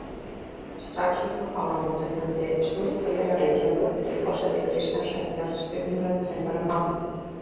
Strax uppúr áramótum efndi Stúdentafélag Reykjavíkur undir forsæti Kristjáns Eldjárns til umræðufundar um málið.